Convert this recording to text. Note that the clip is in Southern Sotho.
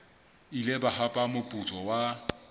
ile ba hapa moputso wa